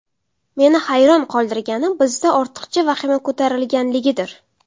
Meni hayron qoldirgani bizda ortiqcha vahima ko‘tarilganligidir.